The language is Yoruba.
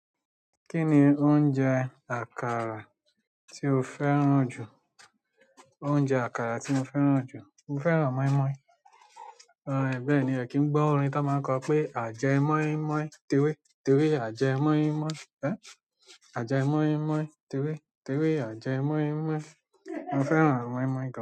Kí ni oúnjẹ àkàrà tí o fẹ́ràn jù? Oúnjẹ àkàrà tí mo fẹ́ràn jù, mo fẹ́ràn moi-moi. È bẹ́ẹ̀ ni, ẹ̀ kí n gbọ́ orin to máa ń kọ pé "àjẹ́ moin-moin t'ewe, t'ewe, àjẹ́ moin-moin. Ẹ̀? Àjẹ́ moi-moi t'ewe, tewe, àjẹ́ moi-moi." Mo fẹ́ràn mói-moi gan.